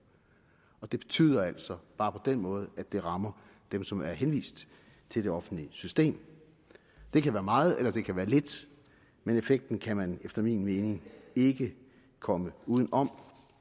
og det betyder altså bare på den måde at det rammer dem som er henvist til det offentlige system det kan være meget eller det kan være lidt men effekten kan man efter min mening ikke komme uden om